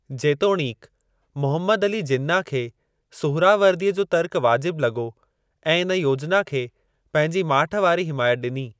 जेतोणीकि, मुहम्मद अली जिन्ना खे सुहरावर्दीअ जो तर्क वाजिब लॻो ऐं इन योजना खे पंहिंजी माठ वारी हिमायत ॾिनी।